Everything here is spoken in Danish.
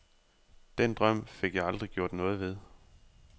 Den drøm fik jeg aldrig gjort noget ved.